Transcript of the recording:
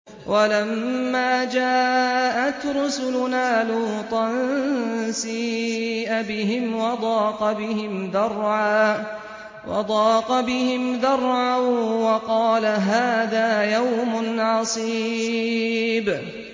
وَلَمَّا جَاءَتْ رُسُلُنَا لُوطًا سِيءَ بِهِمْ وَضَاقَ بِهِمْ ذَرْعًا وَقَالَ هَٰذَا يَوْمٌ عَصِيبٌ